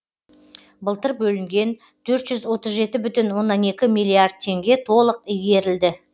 былтыр бөлінген төрт жүз отыз жеті оннан екі миллиард теңге толық игерілді